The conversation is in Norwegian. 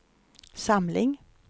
samling